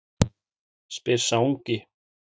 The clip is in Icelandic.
spyr sá ungi.